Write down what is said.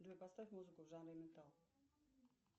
джой поставь музыку в жанре металл